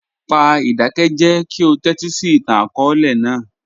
Pa idakẹjẹ ki o tẹtisi itan-akọọlẹ naa.